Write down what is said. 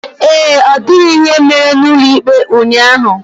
Ee, ọ dịghị ihe mere n'ụlọ ikpe ụnyaahụ.